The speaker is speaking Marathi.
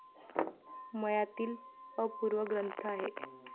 मयातील अपूर्व ग्रंथ आहे.